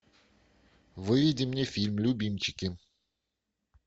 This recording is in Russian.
выведи мне фильм любимчики